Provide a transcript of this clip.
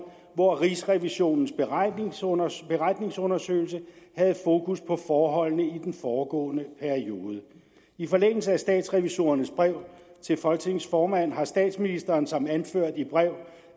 hvor rigsrevisionen beretningsundersøgelse havde fokus på forholdene i den foregående periode i forlængelse af statsrevisorernes brev til folketingets formand har statsministeren som anført i brev